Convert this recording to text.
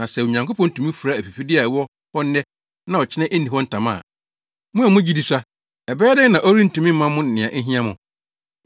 Na sɛ Onyankopɔn tumi fura afifide a ɛwɔ hɔ nnɛ na ɔkyena enni hɔ ntama a, mo a mo gyidi sua, ɛbɛyɛ dɛn na ɔrentumi mma mo nea ehia mo?